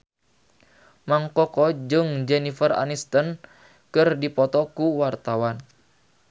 Mang Koko jeung Jennifer Aniston keur dipoto ku wartawan